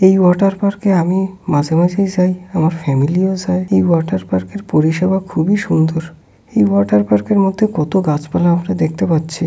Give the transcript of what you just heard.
এই water park -এ আমি মাঝে মাঝেই যাই। আমার ফ্যামিলি -ও যায়। এই ওয়াটার পার্ক -এর পরিষেবা খুবই সুন্দর। এই ওয়াটার পার্ক -এর মধ্যে কত গাছপালা আমরা দেখতে পাচ্ছি।